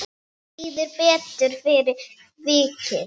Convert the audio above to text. Mér líður betur fyrir vikið.